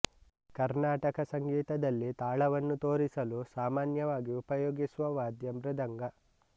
ಕರ್ನಾಟಕ ಸಂಗೀತದಲ್ಲಿ ತಾಳವನ್ನು ತೋರಿಸಲು ಸಾಮಾನ್ಯವಾಗಿ ಉಪಯೋಗಿಸುವ ವಾದ್ಯ ಮೃದಂಗ